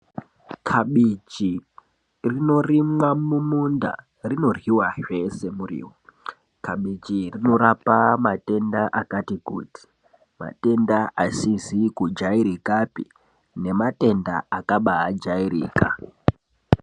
Kabichi rinorimwa mumunda rinoryiwa zvese muriwo , kabichi iri rinorapa matenda akati kuti, rinorapa matenda asizi kujairikapi nematenda akabaajairika .